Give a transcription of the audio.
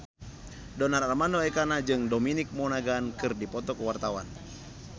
Donar Armando Ekana jeung Dominic Monaghan keur dipoto ku wartawan